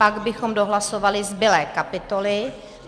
Pak bychom dohlasovali zbylé kapitoly.